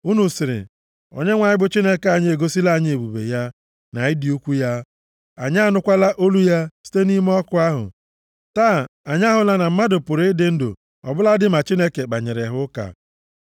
Unu sịrị, “ Onyenwe anyị bụ Chineke anyị egosila anyị ebube ya, na ịdị ukwu ya, anyị anụkwala olu ya site nʼime ọkụ ahụ. Taa anyị ahụla na mmadụ pụrụ ịdị ndụ ọbụladị ma Chineke kpanyere ha ụka.